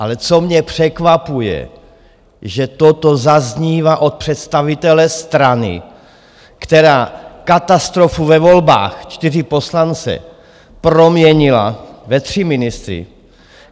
Ale co mě překvapuje, že toto zaznívá od představitele strany, která katastrofu ve volbách - čtyři poslance - proměnila ve tři ministry.